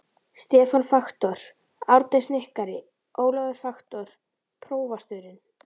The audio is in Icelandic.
Stefán faktor, Árni snikkari, Ólafur faktor, prófasturinn.